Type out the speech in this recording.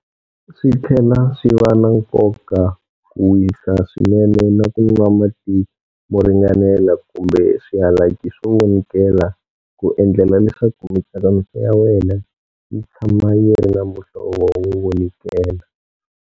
Switlhela swi va na nkoka ku wisa swinene na ku nwa mati mo ringanela kumbe swihalaki swo vonikela ku endlela leswaku mitsakamiso ya wena yi tshama yi ri na muhlovo wo vonikela.